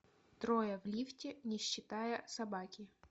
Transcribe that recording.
трое в лифте не считая собаки